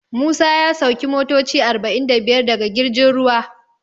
Musa ya sauki motoci arba'in da biyar daga girjin ruwa.